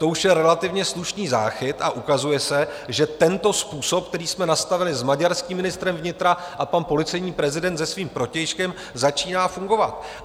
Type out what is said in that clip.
To už je relativně slušný záchyt a ukazuje se, že tento způsob, který jsme nastavili s maďarským ministrem vnitra a pan policejní prezident se svým protějškem, začíná fungovat.